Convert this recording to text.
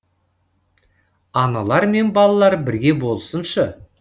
аналар мен балалар бірге болсыншы